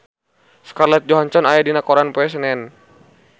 Scarlett Johansson aya dina koran poe Senen